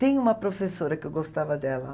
Tem uma professora que eu gostava dela.